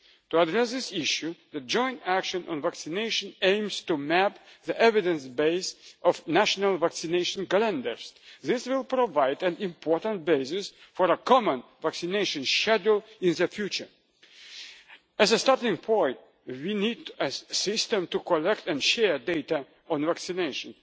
monitoring. To address this issue, the joint action on vaccination aims to map the evidence base of national vaccination calendars. This will provide an important basis for a common vaccination schedule in the future. As a starting point, we need a system to collect and share data on